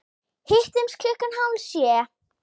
Hittumst klukkan hálf sjö.